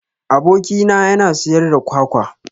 Aboki na yana siyar da kwakwa